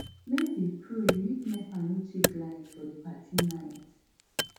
make we pray make nepa no take light for di party night